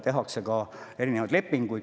Tehakse ka erinevaid lepinguid.